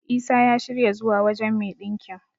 Isa ya shirya zuwa wajen me ɗinkin.